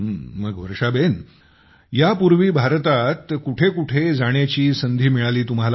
मग यापूर्वी भारतात कुठेकुठे जाण्याची संधी मिळाली तुम्हाला